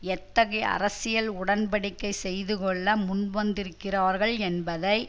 எத்தகைய அரசியல் உடன் படிக்கை செய்து கொள்ள முன்வந்திருக்கிறார்கள் என்பதை